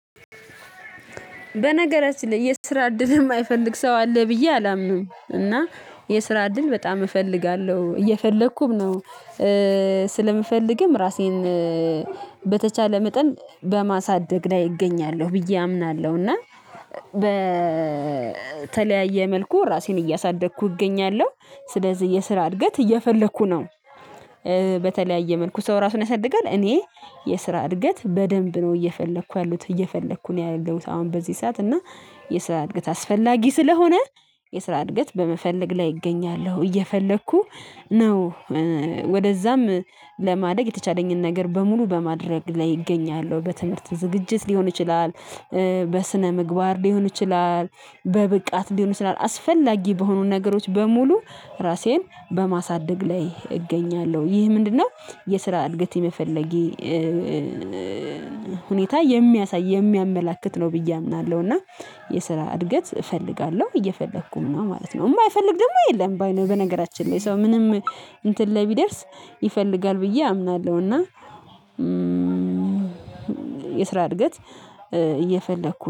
በነገራችን ላይ የስራ እድል የማይፈልግ ሰው አለ ብዬ አላምንም እና የስራ እድል በጣም እፈልጋለሁ እየፈለኩም ነው። ስለምፈልግም ራሴን በተቻለ መጠን በማሳደግ ላይ እገኛለሁ ብዬ አምናለሁ። እና በተለያየ መልኩ ራሴን እያሳደግኩ እገኛለሁ። ስለዚህ የስራ እድገት እየፈለኩ ነው። በተለያየ መልኩ ሰው ራሱን ያሳድጋል። እኔ የስራ እድገት በደንብ ነው እየፈለኩ ያሉት እየፈለኩ ነው ያለሁት አሁን በዚህ ሰዓት እና። የስራ እድገት አስፈላጊ ስለሆነ የስራ እድገት በመፈለግ ላይ እገኛለሁ እየፈለኩ ነው። ወደዛም ለማደግ የተቻለኝን ነገር በሙሉ በማድረግ ላይ እገኛለሁ። በትምህርት ዝግጅት ሊሆን ይችላል በስነ ምግባር ሊሆን ይችላል በብቃት ሊሆን ይችላል አስፈላጊ በሆኑ ነገሮች በሙሉ ራሴን በማሳደግ ላይ እገኛለሁ ይህ ምንድነው? የስራ እድገት የመፈለጌ ሁኔታ የሚያሳይ የሚያመላክት ነው ብዬ አምናለሁ እና የስራ እድገት እፈልጋለሁ እየፈለኩም ማለት ነው። እማ አይፈልግ ደግሞ የለም። በነገራችን ላይ ሰው ምንም እንትን ላይ ቢደርስ ይፈልጋል ብዬ አምናለሁ። እና የስራ እድገት እየፈለኩ